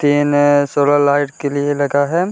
है solar light के लिए लगा है |